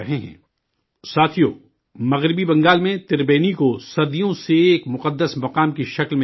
ساتھیو، مغربی بنگال میں تربینی کو صدیوں سے ایک مقدم مقام کے طور پر جانا جاتا ہے